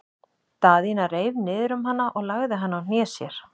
Daðína reif niður um hana og lagði hana á hné sér.